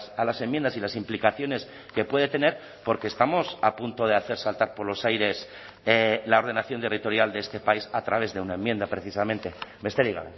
a las enmiendas y las implicaciones que puede tener porque estamos a punto de hacer saltar por los aires la ordenación territorial de este país a través de una enmienda precisamente besterik